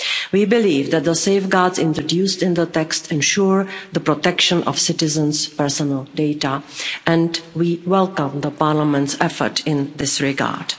We believe that the safeguards introduced in the text ensure the protection of citizens' personal data, and we welcome Parliament's effort in this regard.